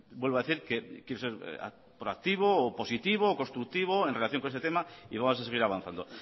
vuelvo a decir que quiero se proactivo o positivo o constructivo en relación con este tema y vamos a seguir avanzando